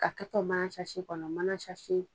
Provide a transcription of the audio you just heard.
A kɛtɔ mana kɔnɔ mana